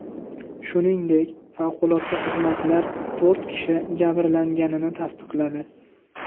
Shuningdek, favqulodda xizmatlar to‘rt kishi jabrlanganini tasdiqladi.